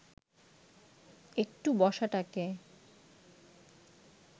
একটু বসাটাকে